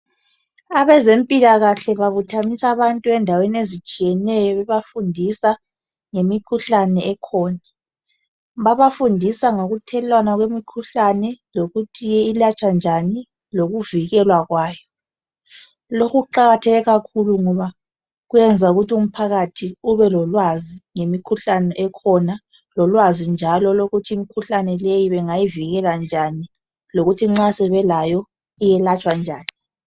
Abezempilakahle babuthanisa abantu endaweni ezitshiyeneyo bebafundisa ngemikhuhlane ekhona. Babafundisa ngokuthelelwana kwemikhuhlane lokuthi ilatshwa njani lokuvikelwa kwayo. Lokhu kuqakatheke kakhulu ngoba kuyayenza umphakathi ubelolwazi ngemikhuhlane ekhona lolwazi njalo lokuthi imikhuhlane leyi bangayivikela njani lokuthi nxa sebelayo iyelatshwa njani.